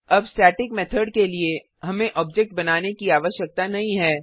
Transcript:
अब static method के लिए हमें ऑब्जेक्ट बनाने की आवश्यकता नहीं है